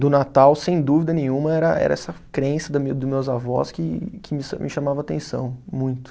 Do Natal, sem dúvida nenhuma, era era essa crença da minha, dos meus avós que me chamava atenção muito.